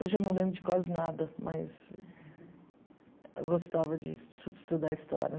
Hoje eu não lembro de quase nada, mas eu gostava de es estudar história.